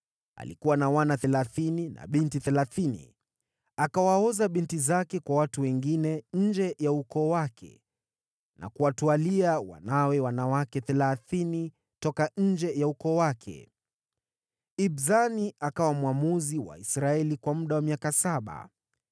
Alikuwa na wana thelathini na binti thelathini. Akawaoza binti zake kwa watu wengine nje ya ukoo wake, na kuwatwalia wanawe wanawake thelathini toka nje ya ukoo wake. Ibzani akawa mwamuzi wa Israeli kwa muda wa miaka saba.